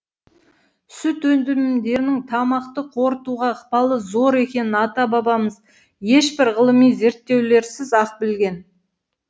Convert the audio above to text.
сүт тамақты қорытуға ықпалы зор екенін ата бабамыз ешбір ғылыми зерттеулерсіз ақ білген